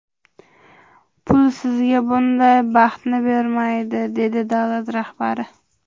Pul sizga bunday baxtni bermaydi”, dedi davlat rahbari.